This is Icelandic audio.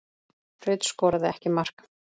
Rut skoraði ekki mark.